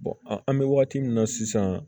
an bɛ wagati min na sisan